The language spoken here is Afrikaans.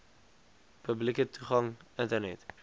publieke toegang internet